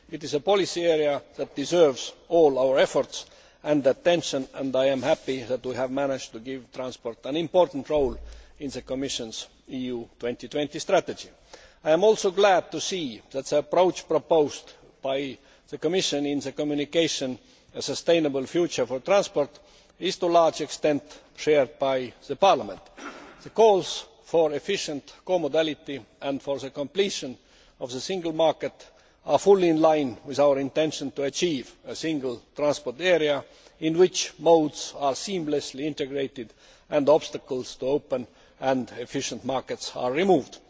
It is a policy area that deserves all our efforts and attention. I am happy that we have managed to give transport an important role in the Commission's EU 2020 strategy. I am also glad to see that the approach proposed by the Commission in the communication A sustainable future for transport' is, to a large extent, shared by Parliament. The calls for efficient comodality and for the completion of the single market are fully in line with our intention to achieve a single transport area in which modes are seamlessly integrated and obstacles to open and efficient markets are removed.